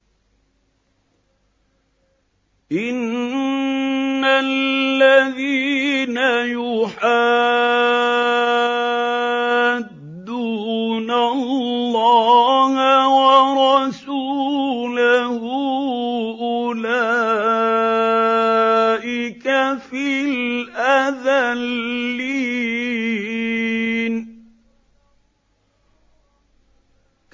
إِنَّ الَّذِينَ يُحَادُّونَ اللَّهَ وَرَسُولَهُ أُولَٰئِكَ فِي الْأَذَلِّينَ